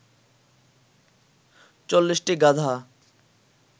৪০টি গাধা